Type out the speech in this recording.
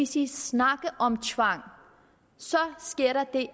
sige snakker om tvang så sker der det